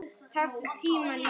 Þær glápa.